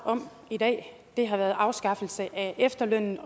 om i dag er afskaffelsen af efterlønnen